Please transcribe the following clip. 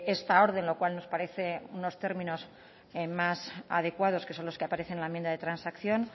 esta orden lo cual nos parece unos términos más adecuados que son los que aparecen en la enmienda de transacción